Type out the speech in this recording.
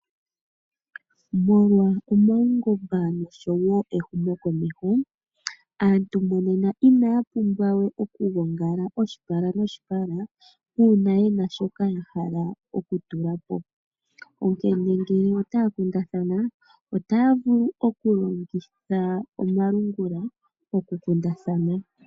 Molwa omaungomba nehumokomeho aantu mboka aantu ihaa gongala we oshipala noshipala uuna ya hala okukundathana sha ,onkee oha longitha omalungula okukundathana.